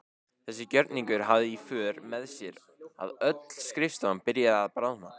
Þessi gjörningur hafði í för með sér að öll skrifstofan byrjaði að bráðna.